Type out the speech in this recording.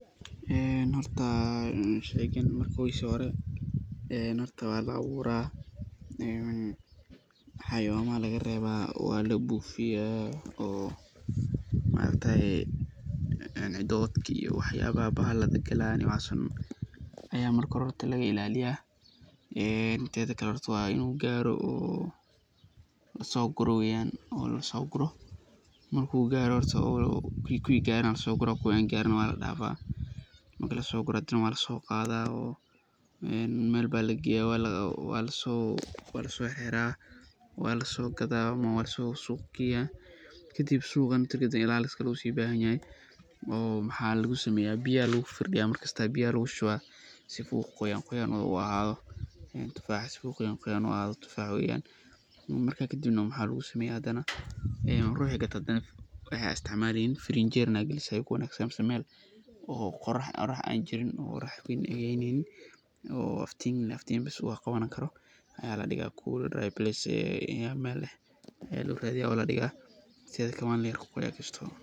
Horta sheygan markiisa hore waa la abuura, xawaayamaha ayaa laga reeba, waa la buufiya, oo maargtaye bahalada galaayan ayaa laga ilaaliyaa, teeda kale horta waa inuu gaaro oo lasoo guro, marki uu gaaro kuwi gaaran waa lasoo guraa kuwi gaarin waa ladaafa, marki lasoo guro waa lasoo qaadaa oo meel ayaa lageeya, waa lasoo xiraa, waa lasoo gadaa ama waa lasoo suuq geeya, kadib suuqa marki lageeyo ilaalis kale ayuu ubahan yahay oo waxaa lasameeya biya ayaa lagu farfardiya, si uu qoyaan qoyaan u ahaado, marka kadib waxaa lagu sameeya ruuxa gato waxeey astaama leeyihiin, ferinjeer inaad galiso mise meel oo qorax jirin oo aftiin bes qabaneyso, meel [cool place]ayaa loo raadiya oo ladigo, teeda kale waa laqooya.